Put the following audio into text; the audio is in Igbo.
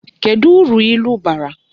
Kedu uru ilu bara?